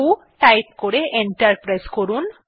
ভো type করে enter press করুন